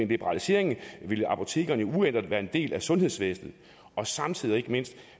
liberalisering vil apotekerne jo uændret være en del af sundhedsvæsenet og samtidig og ikke mindst